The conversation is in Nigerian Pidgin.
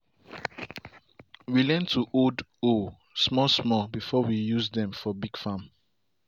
we learn to hold hoe small small before we use dem for big farm.